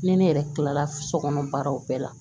Ni ne yɛrɛ kila la so kɔnɔ baaraw bɛɛ la